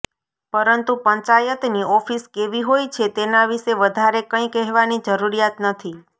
પરંતુ પંચાયતની ઓફિસ કેવી હોય છે તેના વિશે વધારે કંઈ કહેવાની જરૂરિયાત નથી